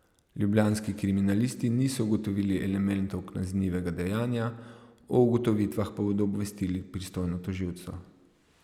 Ljubljanski kriminalisti niso ugotovili elementov kaznivega dejanja, o ugotovitvah pa bodo obvestili pristojno tožilstvo.